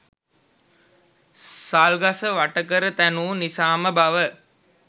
සල් ගස වට කර තැනූ නිසාම බව